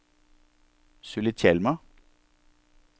Sulitjelma